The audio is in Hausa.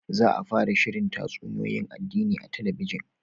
Za a fara shirin tatsuniyoyin addini a talabijin